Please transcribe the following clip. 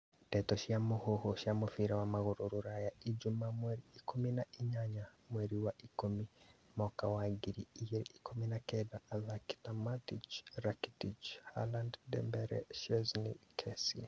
Ndeto cia mũhuhu cia mũbira wa magũrũ Rũraya ijumaa mweri ikũmi na inyanya mweri wa ikũmi mwaka wa ngiri igĩrĩ ikũmi na kenda athaki ta Matic, Rakitic, Halaad, Dembele, Szczesney, Kessie